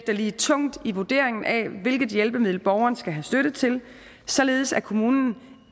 lige tungt i vurderingen af hvilket hjælpemiddel borgeren skal have støtte til således at kommunen